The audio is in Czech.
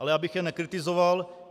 Ale abych jen nekritizoval.